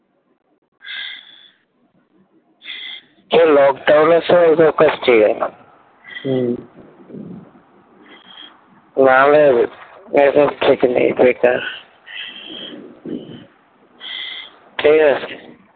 হ্যাঁ lockdown এর সময় এসব কাজ ঠিক হলো হম নাহলে এসব খেতে নেই বেকার